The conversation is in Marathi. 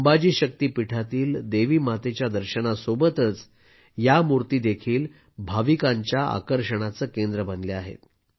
अंबाजी शक्तीपीठातील देवी मातेच्या दर्शनासोबतच या मूर्ती भाविकांच्या आकर्षणाचे केंद्र बनल्या आहेत